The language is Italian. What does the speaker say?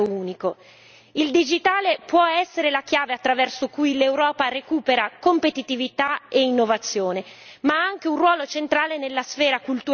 Il digitale può essere la chiave attraverso cui l'Europa recupera competitività e innovazione, ma ha anche un ruolo centrale nella sfera culturale mondiale.